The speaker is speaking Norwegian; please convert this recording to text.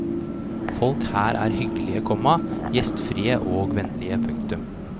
Folk her er hyggelige, komma gjestfrie og vennlige. punktum